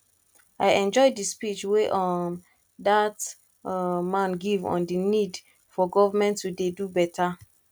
i enjoy the speech wey um dat um man give on the need for government to dey do beta